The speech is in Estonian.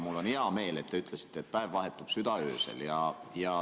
Mul on hea meel, et te ütlesite, et päev vahetub südaöösel.